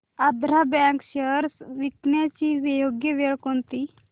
Andhra bank shares विकण्याची योग्य वेळ कोणती